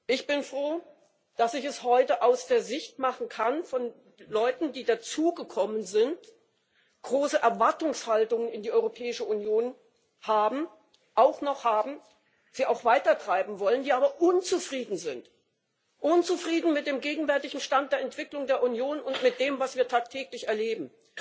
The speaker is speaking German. Ich bin froh, dass ich es heute aus der Sicht von Leuten machen kann, die dazugekommen sind, große Erwartungshaltungen an die Europäische Union haben auch noch haben Sie auch weitertreiben wollen, die aber unzufrieden sind, unzufrieden mit dem gegenwärtigen Stand der Entwicklung der Union und mit dem, was wir tagtäglich erleben,